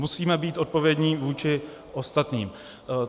Musíme být odpovědní vůči ostatním.